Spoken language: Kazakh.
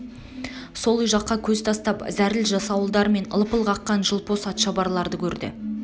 сол үй жаққа көз тастап зәріл жасауылдар мен лыпыл қаққан жылпос атшабарларды көрді